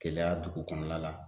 Keleya dugu kɔnɔna la